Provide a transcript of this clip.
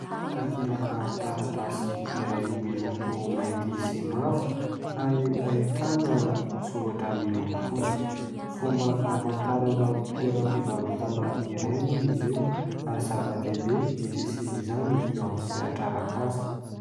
Takelaka taratasy iray miloko mainty sy mavo ary ahitana soratra miloko fotsifotsy. Fomba hamantarana toeram-pivarotana iray moa izy io ary zava-dehibe ny fisian'izany eo amin'ny sehatra arak'asa.